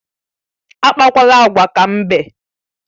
Akpakwala agwa ka mbe!